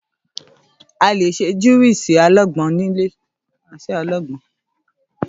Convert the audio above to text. À lé sẹ Júwùsi àlàgbon nìlé.